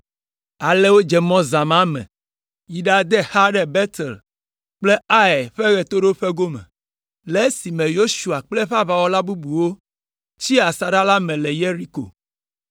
Ale wodze mɔ zã ma me yi ɖade xa ɖe Betel kple Ai ƒe ɣetoɖoƒe gome, le esime Yosua kple aʋawɔla bubuawo tsi asaɖa la me le Yeriko.